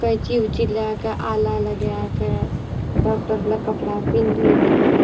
कैंची-उची ले के आला लगाय के डॉक्टर वाला कपड़ा पेन्हि के --